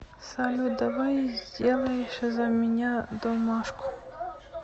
салют давай сделаешь за меня домашку